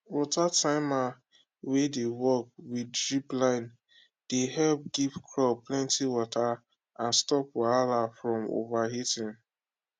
water timer wey dey work with drip line de help give crop plenty water and stop wahala from overwatering